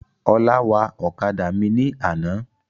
Ọlá wa ọ̀kadà mi ní àná.